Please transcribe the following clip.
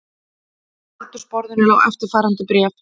Á eldhúsborðinu lá eftirfarandi bréf